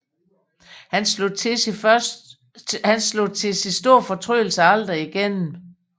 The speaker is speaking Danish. Han slog til sin store fortrydelse aldrig igennem